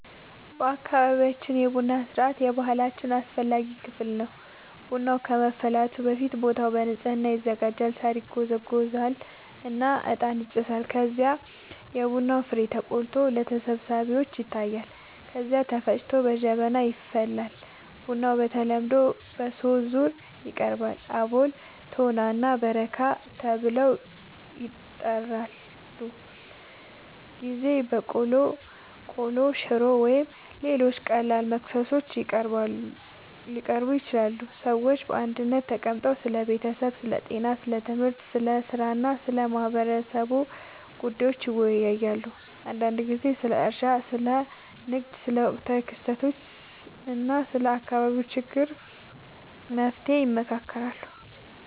በአካባቢያችን የቡና ሥርዓት የባህላችን አስፈላጊ ክፍል ነው። ቡናው ከመፍላቱ በፊት ቦታው በንጽህና ይዘጋጃል፣ ሳር ይጎዘጎዛል እና እጣን ይጨሳል። ከዚያም የቡና ፍሬው ተቆልቶ ለተሰብሳቢዎች ይታያል፣ ከዚያ ተፈጭቶ በጀበና ይፈላል። ቡናው በተለምዶ በሦስት ዙር ይቀርባል፤ አቦል፣ ቶና እና በረካ ተብለው ይጠራሉበ ጊዜ በቆሎ፣ ቆሎ፣ ሽሮ ወይም ሌሎች ቀላል መክሰሶች ሊቀርቡ ይችላሉ። ሰዎች በአንድነት ተቀምጠው ስለ ቤተሰብ፣ ስለ ጤና፣ ስለ ትምህርት፣ ስለ ሥራ እና ስለ ማህበረሰቡ ጉዳዮች ይወያያሉ። አንዳንድ ጊዜ ስለ እርሻ፣ ስለ ንግድ፣ ስለ ወቅታዊ ክስተቶች እና ስለ አካባቢው ችግሮች መፍትሔ ይመካከራሉ